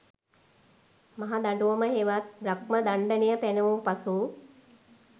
මහ දඬුවම හෙවත් බ්‍රහ්මදණ්ඩනය පැනවූ පසු